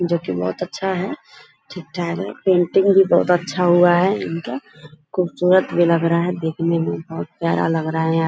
जो की बहुत अच्छा है ठीक-ठाक है पेंटिंग भी बहुत अच्छा हुआ है इनका खूबसूरत भी लग रहा है देखने मे बहुत प्यारा लग रहा है यहाँ।